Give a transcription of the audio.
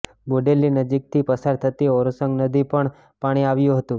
બોડેલી નજીકથી પસાર થતી ઓરસંગ નદીમાં પણ પાણી આવ્યુ હતુ